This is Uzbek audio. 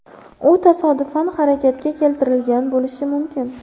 U tasodifan harakatga keltirilgan bo‘lishi mumkin.